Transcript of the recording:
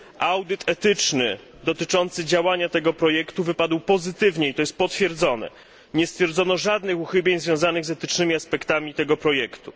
Audyt etyczny dotyczący działania tego projektu wypadł pozytywnie i to jest potwierdzone. Nie stwierdzono żadnych uchybień związanych z etycznymi aspektami tego projektu.